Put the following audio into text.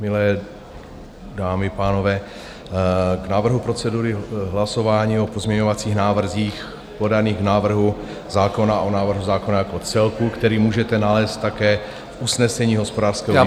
Milé dámy a pánové, k návrhu procedury hlasování o pozměňovacích návrzích podaných k návrhu zákona o návrhu zákona jako celku, který můžete nalézt také v usnesení hospodářského výboru...